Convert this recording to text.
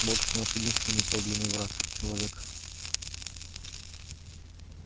вот кто наш единственный подлинный враг человек